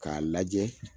K'a lajɛ